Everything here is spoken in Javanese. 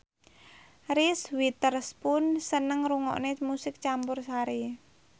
Reese Witherspoon seneng ngrungokne musik campursari